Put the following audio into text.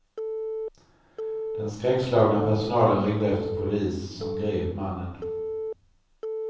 Den skräckslagna personalen ringde efter polis som grep mannen.